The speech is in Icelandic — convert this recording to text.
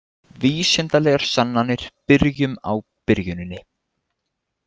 Vísindalegar sannanir Byrjum á byrjuninni.